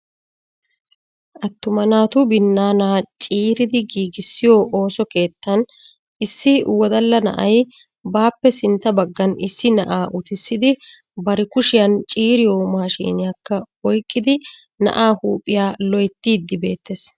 Attuma naatu binaana ciiridi giigissiyo ooso keettan issi wodala na'ay baappe sintta baggan issi na'a uttissidi bari kushiyan ciiriyo maashiniyakka oyqqidi na'aa huuphiyaa loyttiidi beettees.